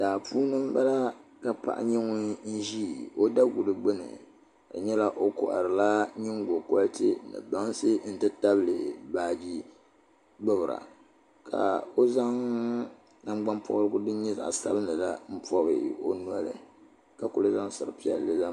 Daa puuni n bala ka paɣa nyɛ ŋun ʒi o daguli gbuni ka di nyɛla o koharila nyingokoriti ni bansi n ti tabili baaji nima ka o zaŋ nangbani pobirigu din nyɛ zaɣ sabinli la n pobi o noli ka ku zaŋ sari piɛlli zaŋ